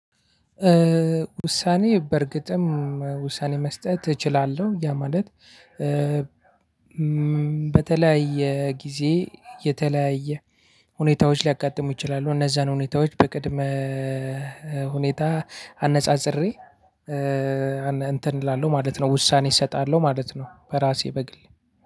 ውሳኔ በእርግጥም ውሳኔ መስጠት እችላለሁ። ያ ማለት በተለያየ ጊዜ የተለያየ ሁኔታዎች ሊያጋጥሙ ይችላሉ። እነዛን ሁኔታዎች በቅድመ ሁኔታ አነጻጽሬ እንትን እላለሁ ማለት ነው። ውሳኔ እሰጣለሁ ማለት ነው። በራሴ በግል